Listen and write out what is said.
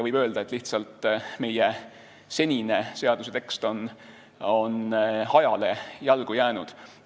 Võib öelda, et lihtsalt meie senine seaduse tekst on ajale jalgu jäänud.